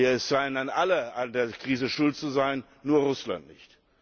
Es scheinen alle an der Krise schuld zu sein, nur Russland nicht.